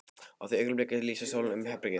Á því augnabliki lýsir sólin upp herbergið.